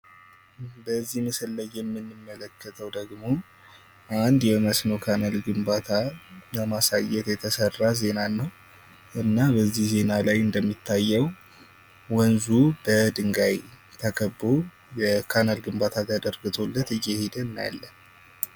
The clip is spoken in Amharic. በዚህ ምስል ላይ የምንመለከተው ደግሞ አንድ የመስኖ ካናል ግንባታ ለማሳየት የተሰራ ዜና ነው። እና የዚህ ዜና ወንዙ በድንጋይ ተከቦ የካናል ዝርጋታ ተዘርግቶለት እየሄደ እናያለን ።